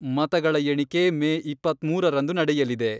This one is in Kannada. ಮತಗಳ ಎಣಿಕೆ ಮೇ ಇಪ್ಪತ್ಮೂರರಂದು ನಡೆಯಲಿದೆ.